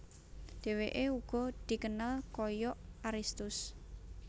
Deweke ugo dikenal koyok Aristus